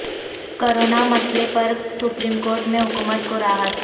corona مسئلہ پر supreme court میں حکومت کو راحت